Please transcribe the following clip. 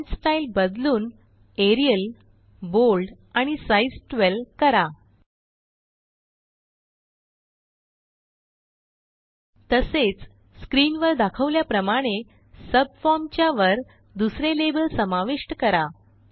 font style बदलून Arial bold आणि size 12 कराltpausegt तसेच स्क्रीनवर दाखवल्याप्रमाणे सबफॉर्म च्या वर दुसरे लाबेल समाविष्ट करा